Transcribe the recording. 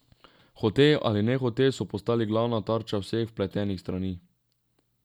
Hote ali nehote so postali glavna tarča vseh vpletenih strani.